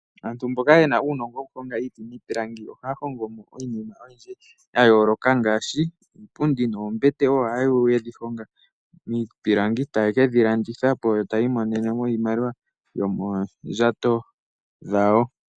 Aantu mboka ye na uunongo wokuhonga iiti niipilangi , ohaya hongo mo iinima oyindji ya yooloka ngaashi iipundi noombete. Ohaya vulu ye dhi honge miipilangi taye ke dhi landitha po taya mono mo iimaliwa yoomondjato dhawo.